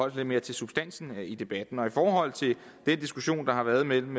lidt mere til substansen i debatten i forhold til den diskussion der har været mellem